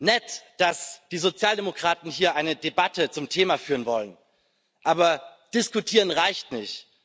Nett, dass die Sozialdemokraten hier eine Debatte zum Thema führen wollen, aber diskutieren reicht nicht.